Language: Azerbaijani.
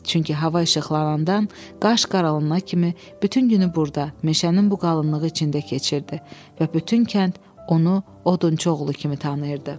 Çünki hava işıqlanandan qaş qaralına kimi bütün günü burda, meşənin bu qalınlığı içində keçirdi və bütün kənd onu odunçu oğlu kimi tanıyırdı.